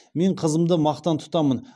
мен қызымды мақтан тұтамын